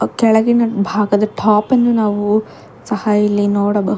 ಕೆಳಗಿನ ಭಾಗದ ಟಾಪನ್ನು ಸಹ ನಾವು ಇಲ್ಲಿ ನೋಡಬಹು--